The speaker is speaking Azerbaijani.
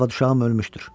Arvad uşağım ölmüşdür.